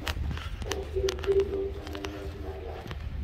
Ok en kendo mana nyasi mar lamo.